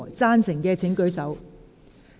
贊成的請舉手。